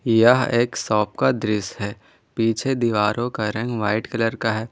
यह एक शॉप का दृश्य है पीछे दीवारों का रंग व्हाइट कलर का है।